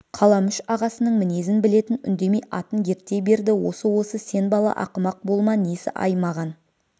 қаламүш ағасының мінезін білетін үндемей атын ерттей берді осы осы сен бала ақымақ болма несі-ай маған